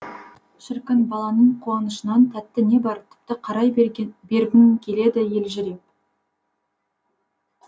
шіркін баланың қуанышынан тәтті не бар тіпті қарай бергің келеді елжіреп